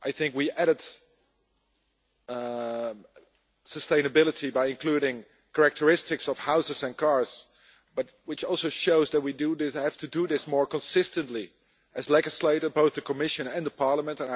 We added sustainability by including characteristics of houses and cars. This also shows that we have to do this more consistently as legislators both the Commission and the Parliament.